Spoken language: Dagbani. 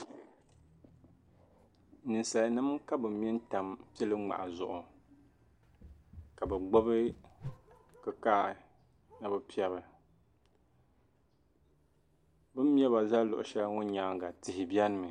Ninsalinma ka bɛ me n-tam pil’ ŋmahi zuɣu ka bɛ gbubi kikahi ni bɛ piɛbi bɛ ni me ba zali luɣ' shɛli ŋɔ nyaaŋa tihi benimi